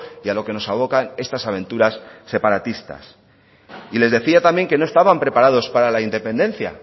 y a lo que nos abocan estas aventuras separatistas y les decía también que no estaban preparados para la independencia